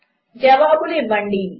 జవాబులు ఇవ్వండి